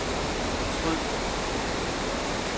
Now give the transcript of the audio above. fortryd